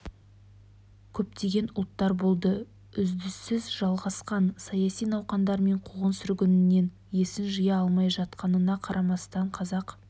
көптеген ұлттар болды үздісіз жалғасқан саяси науқандар мен қуғын-сүргіннен есін жия алмай жатқанына қарамастан қазақ